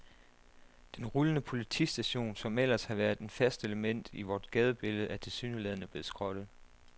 Den rullende politistation, som ellers har været et fast element i vort gadebillede, er tilsyneladende blevet skrottet.